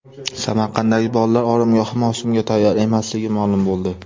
Samarqanddagi bolalar oromgohi mavsumga tayyor emasligi ma’lum bo‘ldi.